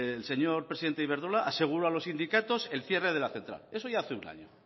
el señor presidente de iberdrola aseguró a los sindicatos el cierre de la central eso ya hace un año